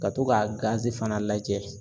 Ka to k'a gazi fana lajɛ